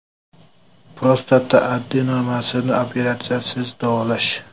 Prostata adenomasini operatsiyasiz davolash.